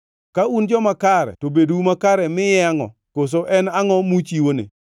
Ka un joma kare to bedou makare miye angʼo, koso en angʼo muchiwone?